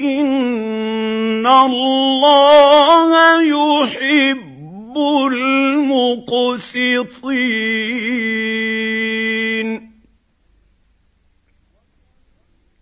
إِنَّ اللَّهَ يُحِبُّ الْمُقْسِطِينَ